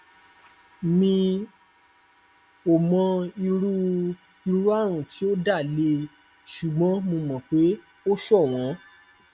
mi ò mọ irú irú àrùn tí ó dá lé ṣùgbọn mo mọ pé o ṣọwọn